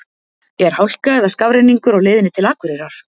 er hálka eða skafrenningur á leiðinni til akureyrar